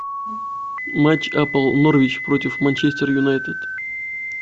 матч апл норвич против манчестер юнайтед